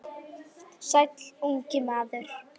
Sumir búa kröpp við kjör.